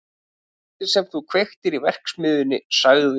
Kvöldið sem þú kveiktir í verksmiðjunni- sagði